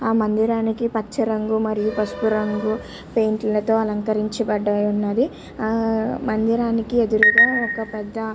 ఆ మందిరానికి పచ్చ రంగు మరియు పసుపు రంగు పెయింట్ ల తో అలంకరించబడి ఉన్నది ఆ మందిరానికి ఎదురు ఒక పెద్ద --